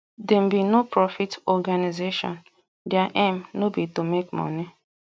dem be noprofit organisation their aim no be to make money